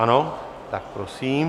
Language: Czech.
Ano, tak prosím.